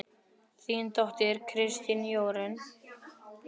Þín dóttir, Kristín Jórunn.